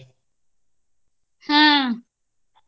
ಆಹ್.